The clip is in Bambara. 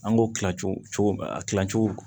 An k'o kila cogo a kilacogo